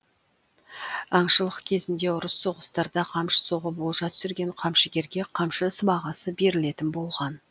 аңшылық кезінде ұрыс соғыстарда қамшы соғып олжа түсірген камшыгерге қамшы сыбағасы берілетін болған